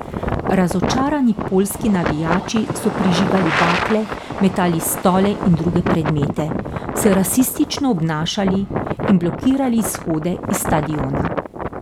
Razočarani poljski navijači so prižigali bakle, metali stole in druge predmete, se rasistično obnašali in blokirali izhode iz stadiona.